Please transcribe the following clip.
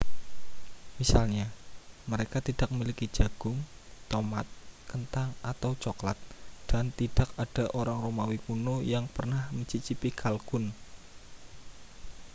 misalnya mereka tidak memiliki jagung tomat kentang atau cokelat dan tidak ada orang romawi kuno yang pernah mencicipi kalkun